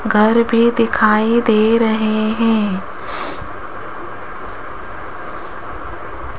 घर भी दिखाई दे रहे हैं।